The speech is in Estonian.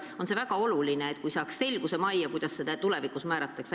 On väga oluline, et saaks selguse majja, kuidas elatisraha tulevikus määratakse.